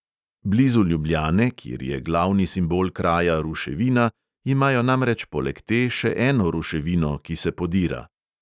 Blizu ljubljane, kjer je glavni simbol kraja ruševina, imajo namreč poleg te še eno ruševino, ki se podira.